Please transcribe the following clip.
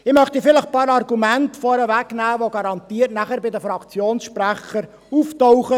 Ich möchte vielleicht einige Argumente vorwegnehmen, die nachher garantiert bei den Fraktionssprechern auftauchen;